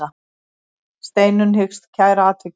Steinunn hyggst kæra atvikið.